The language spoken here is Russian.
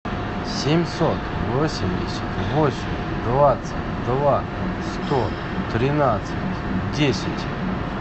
семьсот восемьдесят восемь двадцать два сто тринадцать десять